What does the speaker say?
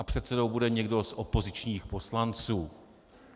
A předsedou bude někdo z opozičních poslanců.